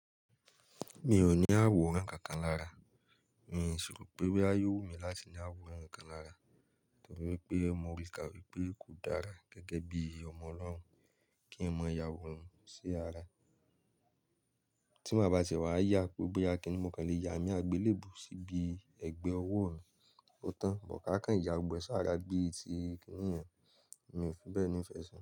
Mi ò ní àwo ẹranko kan lára, n sì rò pé wọ́n á yóò mí láti ní àwo ẹranko kan lára, nítorí pé mo rí i káwé pé kò dára gẹ́gẹ́ bí ọmọ Ọlọ́run kí ẹ mọ yàwóran sí ara. Tí mo bá ti wà yá pé ó bí akẹ́ni, mo kàn le ya àmì àgbélébùú síbi ẹgbẹ́ ọwọ́ òun. Ó tán, mo ká ká ìyàgbẹ́ sára bí i ti kíníún, mi ò fi bẹ́ẹ̀ ni ìfẹ́ sí i.